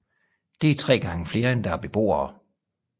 Det er tre gange flere end der er beboere